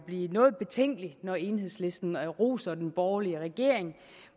blive noget betænkelig når enhedslisten roser den borgerlige regering